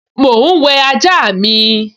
Mò ún wẹ ajá mi